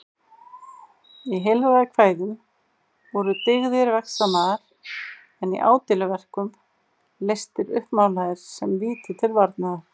Í heilræðakvæðum voru dyggðir vegsamaðar en í ádeiluverkum lestir uppmálaðir sem víti til varnaðar.